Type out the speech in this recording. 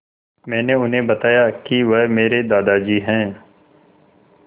मैंने उन्हें बताया कि वह मेरे दादाजी हैं